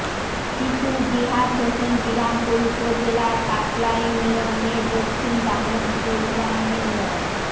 শিশু জিহাদ হোসেন বিরামপুর উপজেলার কাটলা ইউনিয়নের দক্ষিণ দামোদপুর গ্রামে মো